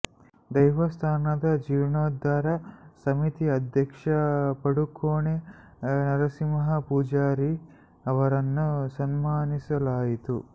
ದೈವಸ್ಥಾನದ ಜೀರ್ಣೋದ್ಧಾರ ಸಮಿತಿ ಅಧ್ಯಕ್ಷ ಪಡುಕೋಣೆ ನರಸಿಂಹ ಪೂಜಾರಿ ಅವರನ್ನು ಸನ್ಮಾನಿಸಲಾಯಿತು